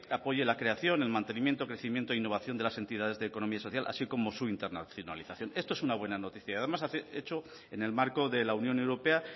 apoye la creación el mantenimiento crecimiento innovación de las entidades de economía social así como su internacionalización esto es una buena noticia y además hecho en el marco de la unión europea